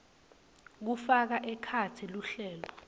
kufaka ekhatsi luhlelo